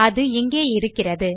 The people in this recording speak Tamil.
அது இங்கே இருக்கிறது